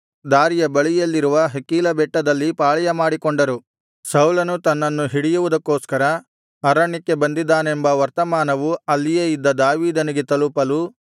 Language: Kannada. ದಾರಿಯ ಬಳಿಯಲ್ಲಿರುವ ಹಕೀಲಾ ಬೆಟ್ಟದಲ್ಲಿ ಪಾಳೆಯಮಾಡಿಕೊಂಡರು ಸೌಲನು ತನ್ನನ್ನು ಹಿಡಿಯುವುದಕ್ಕೋಸ್ಕರ ಅರಣ್ಯಕ್ಕೆ ಬಂದಿದ್ದಾನೆಂಬ ವರ್ತಮಾನವು ಅಲ್ಲಿಯೇ ಇದ್ದ ದಾವೀದನಿಗೆ ತಲುಪಲು